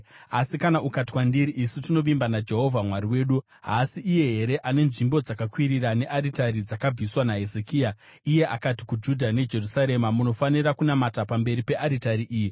Asi kana ukati kwandiri, “Isu tinovimba naJehovha Mwari wedu,” haasi iye here ane nzvimbo dzakakwirira nearitari dzakabviswa naHezekia, iye akati kuJudha neJerusarema, “Munofanira kunamata pamberi pearitari iyi”?